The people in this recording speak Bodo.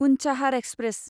उन्चाहार एक्सप्रेस